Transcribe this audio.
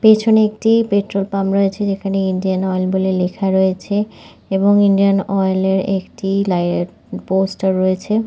পিছনে একটি পেট্রলপাম্প রয়েছে যেখানে ইন্ডিয়ান অয়েল বলে লেখা রয়েছে এবং ইন্ডিয়ান অয়েলের একটি লাই পোস্ট রয়েছে ।